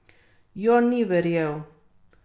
Jon ni verjel.